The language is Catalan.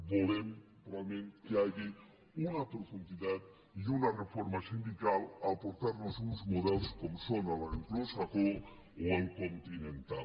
volem realment que hi hagi una profunditat i una reforma sindical per aportar nos uns models com són l’anglosaxó o el continental